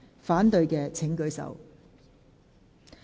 反對的請舉手。